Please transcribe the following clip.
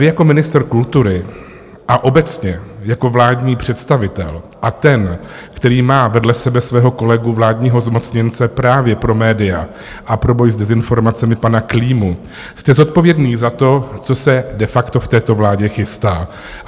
Vy jako ministr kultury a obecně jako vládní představitel a ten, který má vedle sebe svého kolegu vládního zmocněnce právě pro média a pro boj s dezinformacemi pana Klímu, jste zodpovědný za to, co se de facto v této vládě chystá.